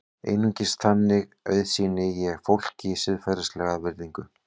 Einungis þannig auðsýni ég fólki siðferðilega virðingu.